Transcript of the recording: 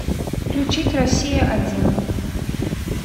включить россия один